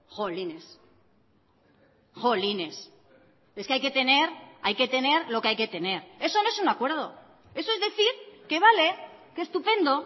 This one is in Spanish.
jolines jolines es que hay que tener hay que tener lo que hay que tener eso no es un acuerdo eso es decir que vale que estupendo